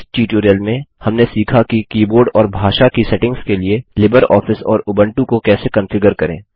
इस ट्यूटोरियल में हमने सीखा कि कीबोर्ड और भाषा की सेटिंग्स के लिए लिबरऑफिस और उबंटु को कैसे कंफिगर करें